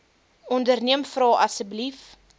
onderneem vra asseblief